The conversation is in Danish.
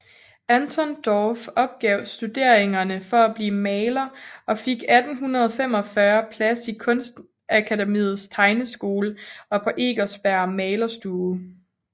Anton Dorph opgav studeringerne for at blive maler og fik 1845 plads i Kunstakademiets tegneskole og på Eckersbergs malerstue